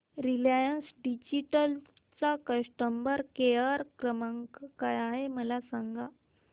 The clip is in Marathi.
रिलायन्स डिजिटल चा कस्टमर केअर क्रमांक काय आहे मला सांगा